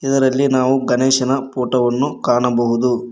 ಇದರಲ್ಲಿ ನಾವು ಗಣೇಶನ ಪೋಟೋ ವನ್ನು ಕಾಣಬಹುದು.